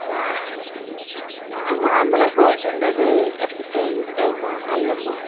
நான் normal ஆ, gold winner உ இந்த எண்ணெய் நல்லெண்ணெய்.